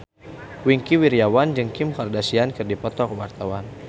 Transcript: Wingky Wiryawan jeung Kim Kardashian keur dipoto ku wartawan